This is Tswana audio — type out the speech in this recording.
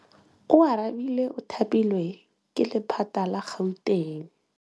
Oarabile o thapilwe ke lephata la Gauteng.